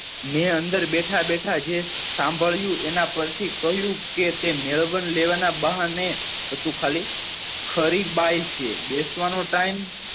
મેં અંદર બેઠા બેઠા જે શામ્ભ્ડ્યું એના પરથી કહ્યું કે તે મેળવન લેવાના બહાને હતું ખાલી ખરી બાઈ છે બેહ્વાનું time